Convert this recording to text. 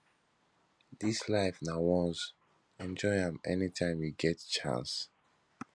dis life na once enjoy am anytime you get chance